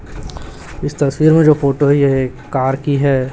इस तस्वीर में जो फोटो है यह एक कार की है।